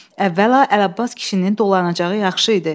Əvvəla Ələbbas kişinin dolanacağı yaxşı idi.